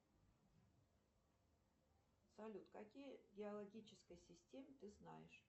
салют какие геологические системы ты знаешь